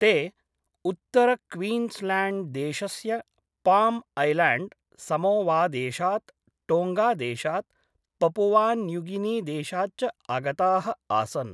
ते उत्तरक्वीन्स्ल्याण्ड्देशस्य पाम्ऐल्याण्ड्, समोवादेशात्, टोङ्गादेशात्, पपुवान्यूगिनीदेशात् च आगताः आसन्।